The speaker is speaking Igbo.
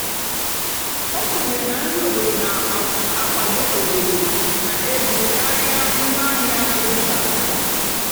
ó kwènyèrè nà nrì óbòdò nà-ákwádó óbòdò nà-égó kàrià ngwáàhịá ébúbátárá.